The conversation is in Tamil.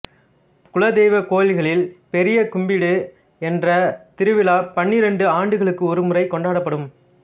குலதெய்வக் கோவில்களில் பெரிய கும்பிடு என்ற திருவிழா பன்னிரண்டு ஆண்டுகளுக்கு ஒரு முறை கொண்டாடப்படும்